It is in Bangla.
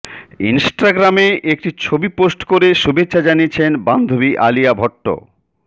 ইনস্টাগ্রামে একটি ছবি পোস্ট করে শুভেচ্ছা জানিয়েছেন বান্ধবী আলিয়া ভট্ট